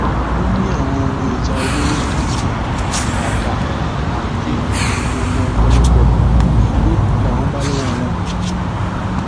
ó ní àwọn ohun ìjà olóró bíi ìbọn àda àáké oògùn ọpọlọpọ igbó làwọn bá lọwọ wọn